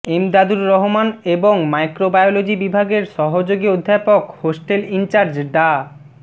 এমদাদুর রহমান এবং মাইক্রোবায়োলজি বিভাগের সহযোগী অধ্যাপক হোস্টেল ইনচার্জ ডা